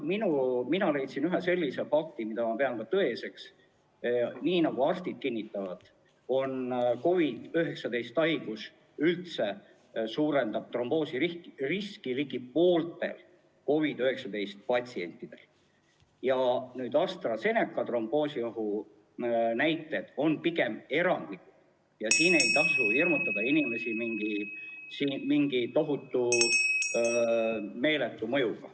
Mina leidsin ühe sellise fakti, mida ma pean tõeseks, nii nagu arstid kinnitavad, et COVID-19 haigus ise suurendab tromboosiriski ligi pooltel COVID-19 patsientidel ja AstraZeneca tromboosiohu näited on pigem erandlikud, nii et ei tasu hirmutada inimesi mingi tohutu, meeletu mõjuga.